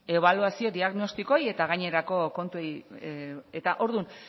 ebaluazio diagnostikoei eta gainerako kontui eta ordun